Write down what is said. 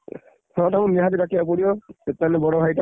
ହଁ ତାଙ୍କୁ ନିହାତି ଡାକିଆକୁ ପଡିବ ଯେତେ ଯାହା ହେଲେ ବଡ ଭାଇ ଟା।